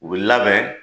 U bi labɛn